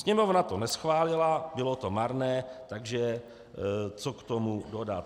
Sněmovna to neschválila, bylo to marné, takže co k tomu dodat?